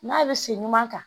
N'a bɛ sen ɲuman kan